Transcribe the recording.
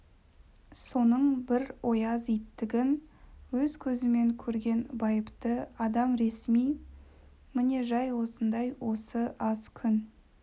соның бір ояз иттігін өз көзімен көрген байыпты адам ресми міне жай осындай осы аз күн